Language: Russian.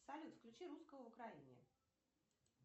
салют включи русского в украине